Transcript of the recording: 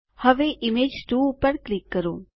હવે ઇમેજ 2 પર ક્લિક કરો